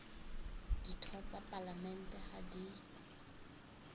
ditho tsa palamente ha di